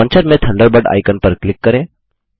launcher में Thunderbird icon पर click करें